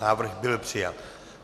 Návrh byl přijat.